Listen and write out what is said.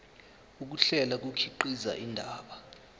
ukuhlela kukhiqiza indaba